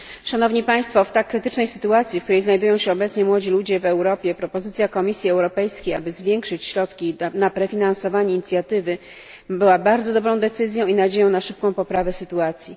Szanowni Państwo! W tak krytycznej sytuacji, w jakiej znajdują się obecnie młodzi ludzie w Europie, propozycja Komisji Europejskiej, aby zwiększyć środki na prefinansowanie inicjatywy była bardzo dobrą decyzją i nadzieją na szybką poprawę sytuacji.